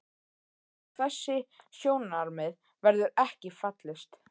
Á þessi sjónarmið verður ekki fallist.